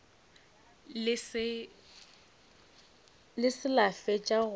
le se la fetša go